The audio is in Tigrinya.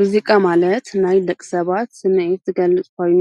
ሙዚቃ ማለት ናይ የቂ ሰባት ስሚዒት ዝገልጽ ኾይኑ